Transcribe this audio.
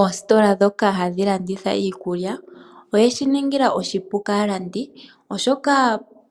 Oositola ndhoka hadhi landitha iikulya. Odheshi ninga oshipu kaalandi oshoka